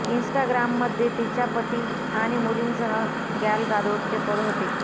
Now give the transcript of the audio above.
इन्स्टाग्राममध्ये तिच्या पती आणि मुलींसह गॅल गादोटचे पद होते